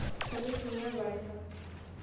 салют меня валька